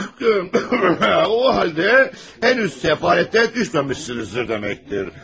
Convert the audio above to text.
O haldə hələ də səfalətə düşməmisiniz deməkdir.